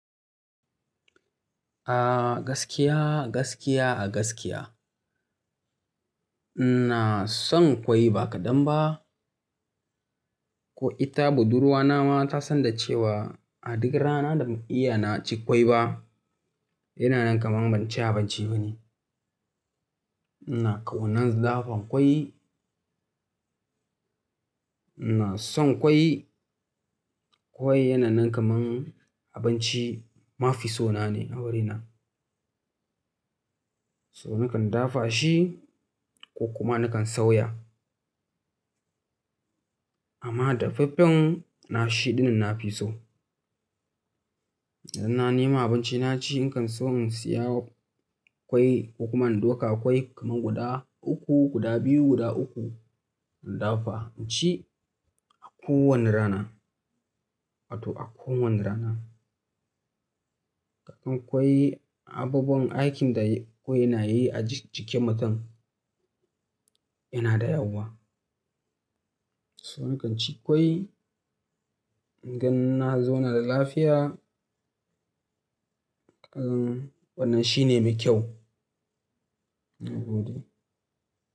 A gaskiya, gaskiya a gaskiya. Ina son ƙwai ba kaɗan ba, ko ita budurwa na ma ta san da cewa a duk rana da ban iya na ci ƙwai ba, yana nan kamar abinci bane. Ina ƙaunar na dafa ƙwai. Ina son ƙwai. Ƙwai yana nan kamar abinci mafi so na ne a wurina. So nakan dafa shi ko kuma nakan sauya. Amma dafaffen na shiɗin nafi so. Idan na nema abinci na ci, in kan so in siya ƙwai ko kuma in dafa ƙwai kamar guda uku, guda biyu, guda uku, in dafa in ci a kowanne rana. Wato a kowanne rana. Ko ƙwai abubuwan aikin da ƙwai yana yi a jikin mutum yana da yawa. So nakan ci ƙwai, don ganin zauna da lafiya. Ai wannan shi ne mai kyau. Na gode.